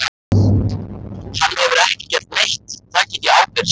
Hann hefur ekki gert neitt, það get ég ábyrgst.